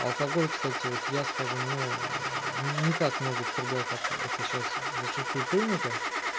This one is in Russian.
алкоголь кстати вот я скажу ну ни ни так много употреблял как это сейчас зачастую принято